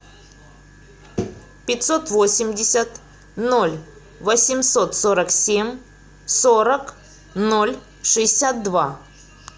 пятьсот восемьдесят ноль восемьсот сорок семь сорок ноль шестьдесят два